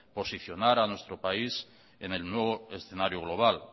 posicionar a nuestro país en el nuevo escenario global